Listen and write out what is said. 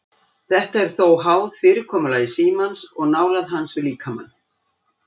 Þetta er þó háð fyrirkomulagi símans og nálægð hans við líkamann.